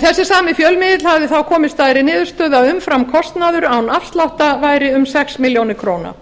þessi sami fjölmiðill hafði þá komist að þeirri niðurstöðu að umframkostnaður án afsláttar væri um sex milljónir króna